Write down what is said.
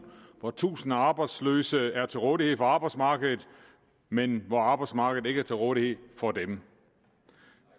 hvor tusinde af arbejdsløse er til rådighed for arbejdsmarkedet men hvor arbejdsmarkedet ikke er til rådighed for dem